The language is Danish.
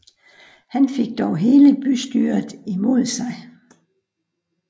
Han fik dog hele bystyret imod sig